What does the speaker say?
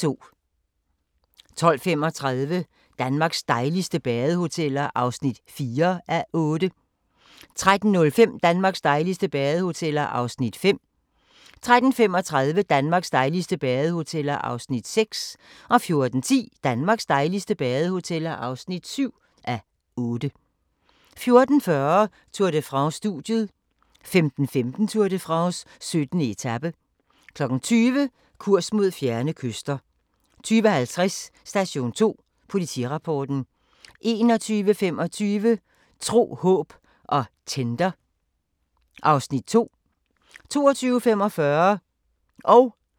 12:35: Danmarks dejligste badehoteller (4:8) 13:05: Danmarks dejligste badehoteller (5:8) 13:35: Danmarks dejligste badehoteller (6:8) 14:10: Danmarks dejligste badehoteller (7:8) 14:40: Tour de France: Studiet 15:15: Tour de France: 17. etape 20:00: Kurs mod fjerne kyster 20:50: Station 2: Politirapporten 21:25: Tro, håb og Tinder (Afs. 2) 22:45: Krop umulig!